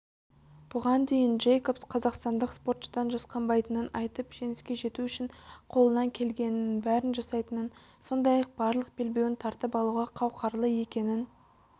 бұған дейін джейкобс қазақстандық спортшыдан жасқанбайтынын айтып жеңіске жету үшін қолынан келгеннің бәрін жасайтынын сондай-ақ барлық белбеуін тартып алуға қауқарлы екенін